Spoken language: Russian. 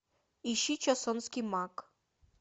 ищи чосонский маг